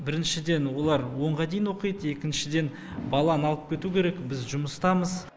біріншіден олар онға дейін оқиды екіншіден баланы алып кету керек біз жұмыстамыз